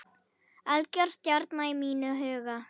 Algjör stjarna í mínum huga.